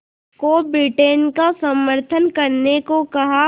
को ब्रिटेन का समर्थन करने को कहा